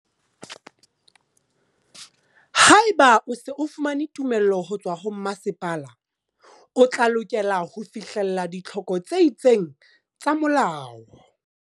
Haeba o se o fumane tumello ho tswa ho masepala, o tla lokela ho fihlella ditlhoko tse itseng tsa molao.